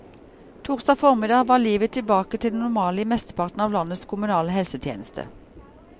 Torsdag formiddag var livet tilbake til det normale i mesteparten av landets kommunale helsetjeneste.